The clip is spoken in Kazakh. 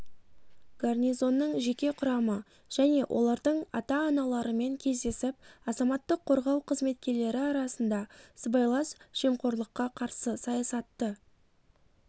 гарнизонның жеке құрамы және олардың ата-аналарымен кездесіп азаматтық қорғау қызметкерлері арасында сыбайлас жемқорлыққа қарсы саясатты